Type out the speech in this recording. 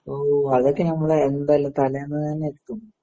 അതൊക്കെ നമ്മള് എന്തായാലും തലേന്നുതന്നെ എത്തും.